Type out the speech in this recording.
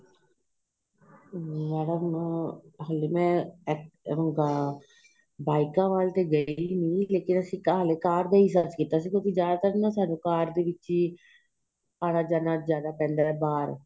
madam ਅਹ ਹਲੇ ਮੈਂ ਬਾਈਕਾ ਵੱਲ ਤੇ ਗਈ ਨਹੀਂ ਲੇਕਿਨ ਅਸੀਂ ਹਲੇ ਤਾਂ ਕਾਰ ਤੇ ਹੀ search ਕੀਤਾ ਸੀ ਕਿਉਂਕਿ ਜਿਆਦਾਤਰ ਸਾਨੂੰ ਕਾਰ ਦੇ ਵਿੱਚ ਹੀ ਆਣਾ ਜਾਣਾ ਪੈਂਦਾ ਏ ਬਹਾਰ